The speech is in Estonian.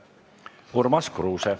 Urmas Kruuse.